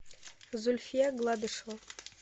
зульфия гладышева